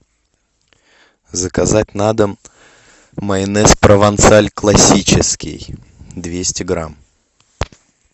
заказать на дом майонез провансаль классический двести грамм